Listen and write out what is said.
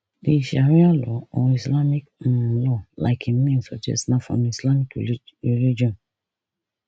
di sharia law or islamic um law like im name suggest na from di islamic reli religion